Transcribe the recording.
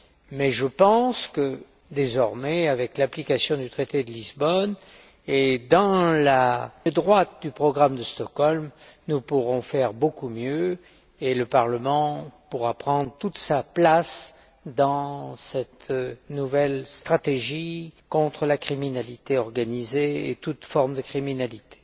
Mais je pense que, désormais, avec l'application du traité de Lisbonne, et dans le droit fil du programme de Stockholm, nous pourrons faire beaucoup mieux, et le Parlement pourra prendre toute sa place dans cette nouvelle stratégie contre la criminalité organisée et toute forme de criminalité.